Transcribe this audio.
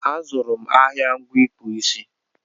A zụrụ m ahịa ngwa ịkpụ isi